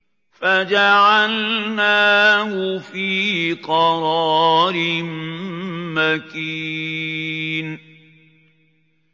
فَجَعَلْنَاهُ فِي قَرَارٍ مَّكِينٍ